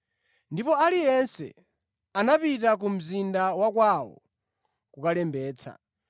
Ndipo aliyense anapita ku mzinda wa kwawo kukalembetsa.